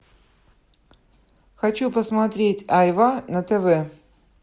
хочу посмотреть айва на тв